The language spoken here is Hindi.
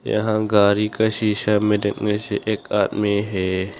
यहां गाड़ी का शिशॉ में देखने से एक आदमी है।